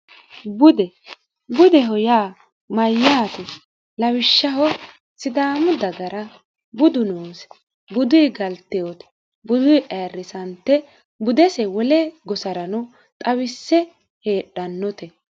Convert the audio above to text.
bude budeho yaa mayyaati lawishshaho sidaamu dagara budu noose budui galteote budu ayirrisante budese wole gobarano xawisse heedhannote